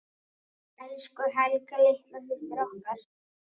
Elsku Helga litla systir okkar.